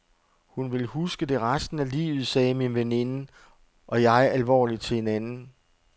Hun vil huske det resten af livet, sagde min veninde og jeg alvorligt til hinanden.